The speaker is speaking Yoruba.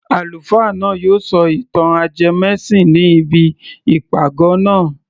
Àlùfáà náà yóò sọ ìtàn ajẹmẹ́sìn ní ibi ìpàgọ́ naa